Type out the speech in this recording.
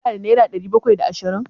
Ka na da naira ɗari bakwai da ashirin?